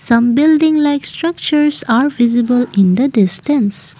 some building like structures are visible in the distance.